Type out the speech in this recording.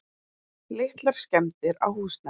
Litlar skemmdir á húsnæði.